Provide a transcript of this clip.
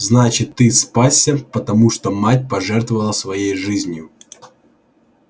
значит ты спасся потому что мать пожертвовала своей жизнью